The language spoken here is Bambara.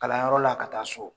Kalanyɔrɔ la ka taa so